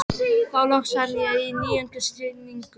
Þá loks fann ég níundu sýninguna.